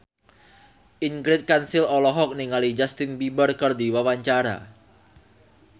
Ingrid Kansil olohok ningali Justin Beiber keur diwawancara